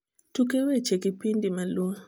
tuke weche kipindi maluo